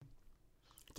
DR1